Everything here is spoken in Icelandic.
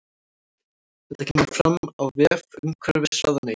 Þetta kemur fram á vef umhverfisráðuneytisins